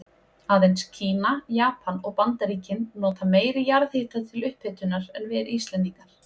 Aðeins Kína, Japan og Bandaríkin nota meiri jarðhita til upphitunar en við Íslendingar.